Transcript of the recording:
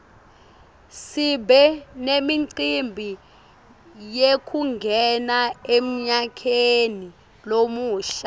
sibe nemicimbi yekungena emnyakeni lomusha